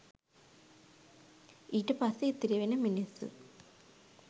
ඊට පස්සේ ඉතිරිවෙන මිනිස්සු